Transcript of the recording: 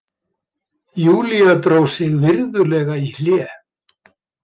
Júlía dró sig virðulega í hlé.